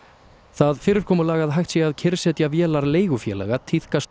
það fyrirkomulag að hægt sé að kyrrsetja vélar leigufélaga tíðkast